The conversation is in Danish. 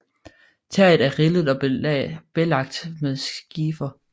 Taget er rillet og belagt med skifer